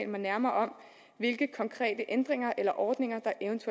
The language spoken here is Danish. mig nærmere om hvilke konkrete ændringer eller ordninger